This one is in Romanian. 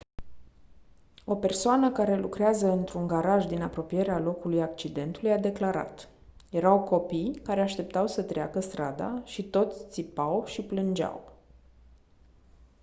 o persoană care lucrează într-un garaj din apropierea locului accidentului a declarat: «erau copii care așteptau să treacă strada și toți țipau și plângeau.».